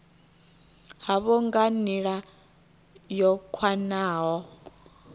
havho nga nila yo khwahaho